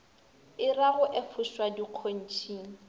e ra go efošwa dikgontšhing